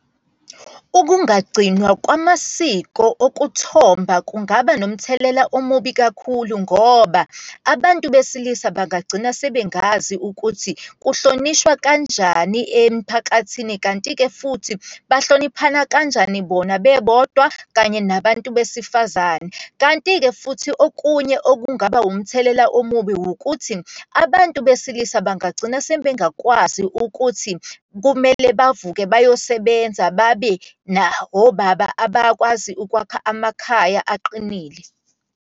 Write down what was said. Ukungagcinwa kwamasiko okuthomba kungaba nomthelela omubi kakhulu, ngoba abantu besilisa bangagcina sebengazi ukuthi kuhlonishwa kanjani emphakathini, kanti-ke futhi bahloniphana kanjani bona bebodwa, kanye nabantu besifazane. Kanti-ke futhi okunye okungaba umthelela omubi wukuthi, abantu besilisa bangagcina sebengakwazi ukuthi kumele bavuke bayosebenza babe, na obaba abakwazi ukwakha amakhaya aqinile.